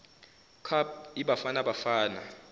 cup ibafana bafana